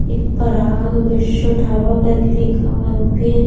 एक पराग विश्व ढाबा करके लिखा हुआ है भी उस--